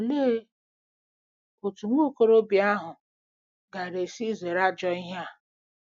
Olee otú nwa okorobịa ahụ gaara esi zere ajọ ihe a?